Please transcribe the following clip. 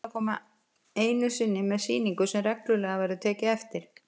Mig langar til að koma einu sinni með sýningu sem reglulega verður tekið eftir.